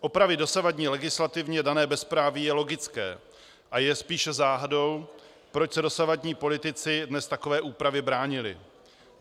Opravit dosavadní legislativně dané bezpráví je logické a je spíše záhadou, proč se dosavadní politici dnes takové úpravě bránili.